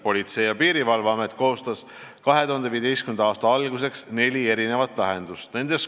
Politsei- ja Piirivalveamet koostas 2015. aasta alguseks neli lahendust.